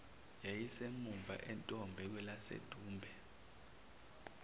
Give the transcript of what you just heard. yayisemuva entombe kwelasedumbe